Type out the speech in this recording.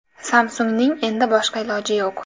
Samsung‘ning endi boshqa iloji yo‘q.